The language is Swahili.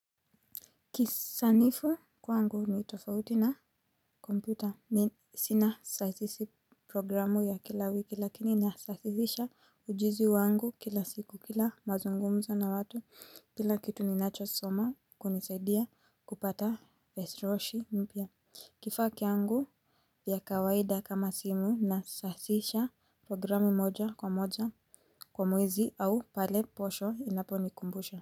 Kisanifu kwangu ni tofauti na kompyuta ni sina sasisi programu ya kila wiki lakini nasasihisha ujuzi wangu kila siku kila mazungumzo na watu. Kila kitu ninachosoma kunisaidia kupata vesiroshi mpya. Kifaa kiangu ya kawaida kama simu nasasisha programu moja kwa moja kwa mwezi au pale posho inaponikumbusha.